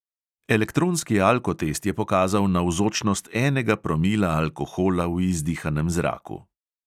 Elektronski alkotest je pokazal navzočnost enega promila alkohola v izdihanem zraku.